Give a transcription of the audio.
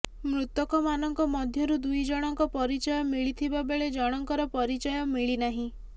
ମୃତକମାନଙ୍କ ମଧ୍ୟରୁ ଦୁଇ ଜଣଙ୍କ ପରିଚୟ ମିଳିଥିବା ବେଳେ ଜଣଙ୍କର ପରିଚୟ ମିଳିନାହିଁ